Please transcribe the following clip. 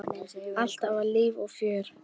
Alltaf var líf og fjör.